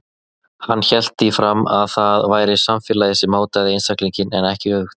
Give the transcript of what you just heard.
Hann hélt því fram að það væri samfélagið sem mótaði einstaklinginn en ekki öfugt.